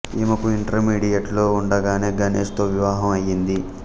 ఈమెకు ఇంటర్మీడియట్ లో ఉండగానే గణేష్ తో వివాహం అయింది